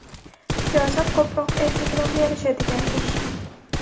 Siyosat ko‘proq erkaklarga yarashadigan ish.